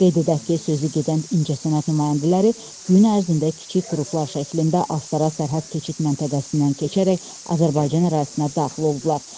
Qeyd edək ki, sözü gedən incəsənət nümayəndələri gün ərzində kiçik qruplar şəklində Astara sərhəd keçid məntəqəsindən keçərək Azərbaycan ərazisinə daxil olublar.